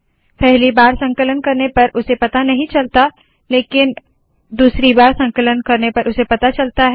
पहली बार संकलन करने पर उसे पता नहीं चलता लेकिन दूसरी बार संकलन पर उसे पता चलता है